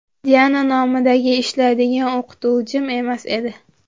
Diana nomiga ishlaydigan o‘qituvchim emas edi.